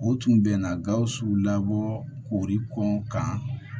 O tun bɛ na gawusu labɔ kori kɔn kan